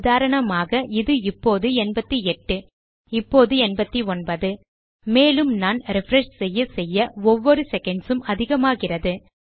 உதாரணமாக இது இப்போது 88 இப்போது 89 மேலும் நான் ரிஃப்ரெஷ் செய்ய செய்ய ஒவ்வொரு செகண்ட் உம் அதிகமாகிறது